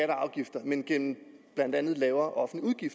afgifter men gennem blandt andet lavere offentlige